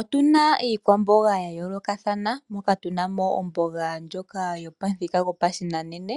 Otu na iikwamboga ya yoolokathana, moka tu na mo omboga ndjoka hayi kunwa pamuthika gopashinanena.